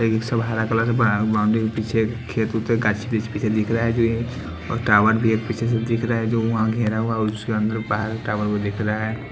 इ सब हरा कलर क बा बाउंड्री के पीछे खेत उत है गाछ पीछ पीछे दिख रहा है जो ए टावर भी है पीछे से दिख रहा हैं जो वहाँ घेरा हुआ है उसके अंदर बाहर टावर भी दिख रहा हैं।